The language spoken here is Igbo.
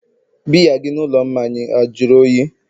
biya gị n'ụlọ mmanya a jụrụ oyi?